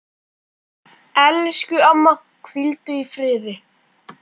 Elsku amma, hvíldu í friði.